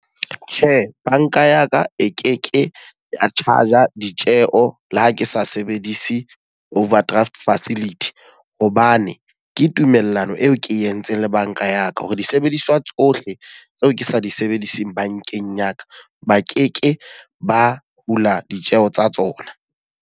Tjhe, banka ya ka e keke ya charger ditjeho le ha ke sa sebedise overdraft facility. Hobane ke tumellano eo ke entseng le banka ya ka, hore disebediswa tsohle tseo ke sa di sebediseng bankeng ya ka, ba ke ke ba hula ditjeho tsa tsona.